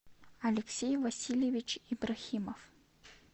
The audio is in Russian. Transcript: алексей васильевич ибрахимов